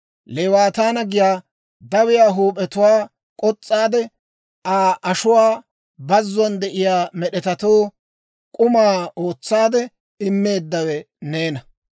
Leewaataana giyaa dawiyaa huup'iyaa k'os's'aade, Aa ashuwaa bazzuwaan de'iyaa med'etatoo, k'uma ootsaade immeeddawe neena.